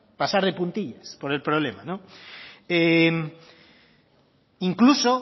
pasar de puntillas por el problema no incluso